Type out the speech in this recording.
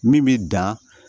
Min bɛ dan